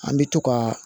An bɛ to ka